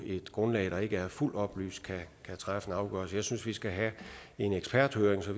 et grundlag der ikke er fuldt oplyst kan træffe en afgørelse jeg synes vi skal have en eksperthøring så